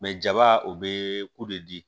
jaba o bɛ ko de